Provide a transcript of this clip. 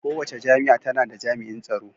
Kowace jami'a tana da jami'in tsaro.